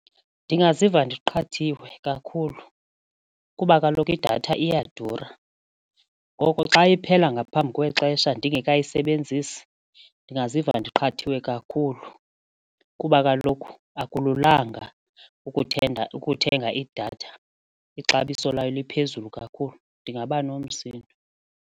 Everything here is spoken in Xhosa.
Ndingaziva ndiqhathiwe kakhulu kuba kaloku idatha iyadura. Ngoko xa iphela ngaphambi kwexesha ndingekayisebenzisi ndingaziva ndiqhathiwe kakhulu kuba kaloku akululanga ukuthenga ukuthenga idatha ixabiso layo liphezulu kakhulu ndingaba nomsindo.